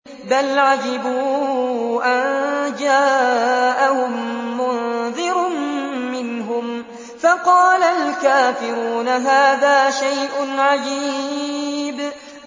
بَلْ عَجِبُوا أَن جَاءَهُم مُّنذِرٌ مِّنْهُمْ فَقَالَ الْكَافِرُونَ هَٰذَا شَيْءٌ عَجِيبٌ